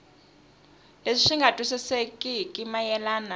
leswi swi nga twisisekeki mayelana